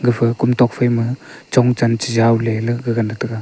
gapha kom tok phaima chongchan chejaw leley gagana tega.